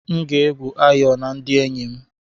M ga-egwu ayò na ndị enyi m.